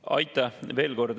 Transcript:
Aitäh!